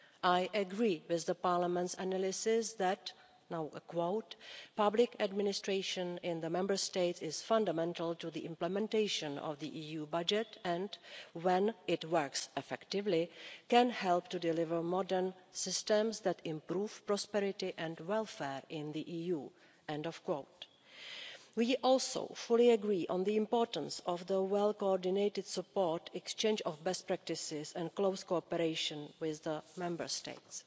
I agree with Parliament's analysis that, and I quote, public administration in the Member States is fundamental to the implementation of the EU budget and, when it works effectively, can help to deliver modern systems that improve prosperity and welfare in the EU'. We also fully agree on the importance of well coordinated support, exchange of best practices and close cooperation with the Member States.